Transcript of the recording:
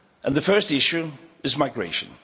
The first issue is migration.